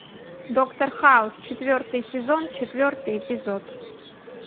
доктор хаус четвертый сезон четвертый эпизод